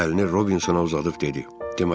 Əlini Robinsona uzadıb dedi: